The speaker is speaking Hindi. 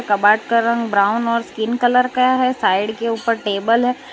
कबार्ड का रंग ब्राऊन साइड के ऊपर टेबल है।